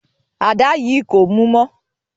Àda yìí kò mú mọ́.